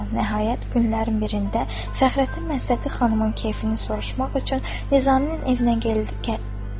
Nəhayət günlərin birində Fəxrəddin Məsəti xanımın keyfini soruşmaq üçün Nizaminin evinə gəlib.